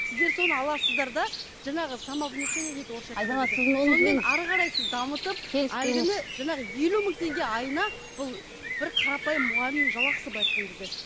сіздер соны аласыздар да жаңағы самовнушение дейді орысша айтқанда сонымен әрі қарай сіз дамытып жаңағы елу мың теңге айына бұл бір қарапайым мұғалімнің жалақысы былай айтқан кезде